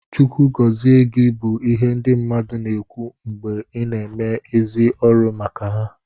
Chukwu gọzi gị bụ ihe ndị mmadụ na-ekwu mgbe ị na-eme ezi ọrụ maka ha